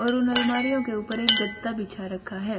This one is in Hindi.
और उन अलमारियों के ऊपर एक गद्दा बिछा रखा है।